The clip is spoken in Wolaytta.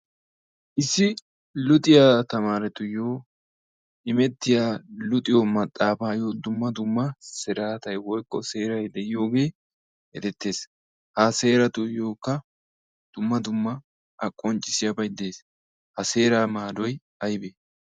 issi luxxiya tamaaretuyo immetiya maxaafa bolan luxxiyo maxaafayo dumma dumma seerati de'oosona. ha seeraa maadoy aybee?